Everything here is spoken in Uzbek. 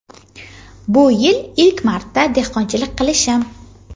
Bu yil ilk marta dehqonchilik qilishim.